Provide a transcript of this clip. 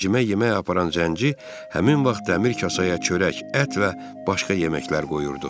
Cimə yemək aparan zənci həmin vaxt dəmir kasaya çörək, ət və başqa yeməklər qoyurdu.